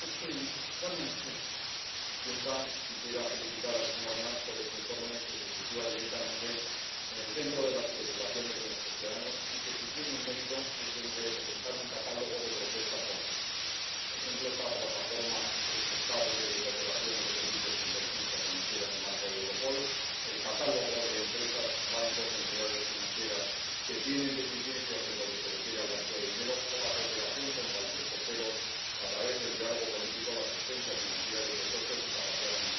Señora presidenta, quisiera felicitar al señor Nart por este informe, que se sitúa directamente en el centro de las preocupaciones de nuestros ciudadanos y que, si tiene un mérito, es el de presentar un catálogo de propuestas concretas por ejemplo, la plataforma estable de cooperación de los servicios de inteligencia financiera en el marco de Europol, el catálogo de empresas, bancos o entidades financieras que tienen deficiencias en lo que se refiere al blanqueo de dinero o la cooperación con países terceros a través del diálogo político, la asistencia financiera y el refuerzo de su capacidad antiterrorista.